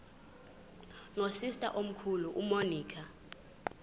nosister omkhulu umonica